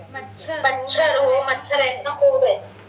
मच्छर हो मच्छर आहेत न खूप आहेत